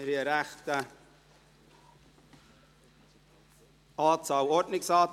Wir haben, wie immer, eine grosse Anzahl von diesen.